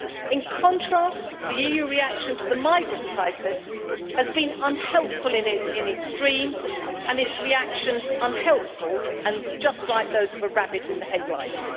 In contrast, the EU reaction to the migrant crisis has been unhelpful in the extreme and its reactions unhelpful and just like those of a rabbit in the headlights.